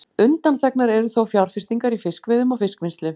Undanþegnar eru þó fjárfestingar í fiskveiðum og fiskvinnslu.